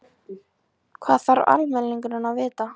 Hvað þarf almenningur að vita?